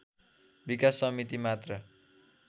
विकास समिति मात्र